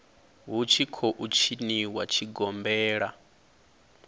hu tshi khou tshiniwa tshigombela